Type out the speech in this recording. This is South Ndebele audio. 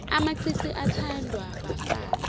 amacici athandwa bafazi